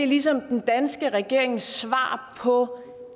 ligesom den danske regerings svar på